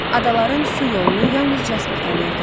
Adaların su yolunu yalnız Jaspar tanıyırdı.